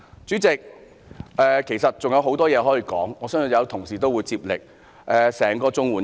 主席，要說的其實還有很多，我相信同事會接力發言。